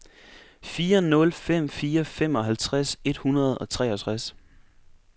fire nul fem fire femoghalvtreds et hundrede og treogtres